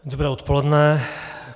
Dobré odpoledne.